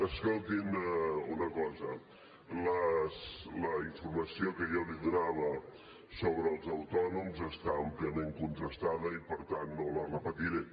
escoltin una cosa la informació que jo li donava sobre els autònoms està àmpliament contrastada i per tant no la repetiré